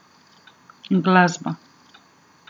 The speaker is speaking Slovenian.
Glasba!